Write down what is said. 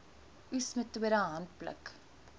oes metode handpluk